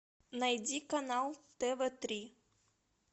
найди канал тв три